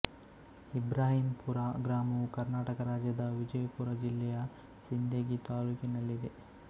ಇಬ್ರಾಹಿಮಪುರ ಗ್ರಾಮವು ಕರ್ನಾಟಕ ರಾಜ್ಯದ ವಿಜಯಪುರ ಜಿಲ್ಲೆಯ ಸಿಂದಗಿ ತಾಲ್ಲೂಕಿನಲ್ಲಿದೆ